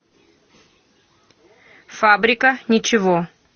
фабрика ничего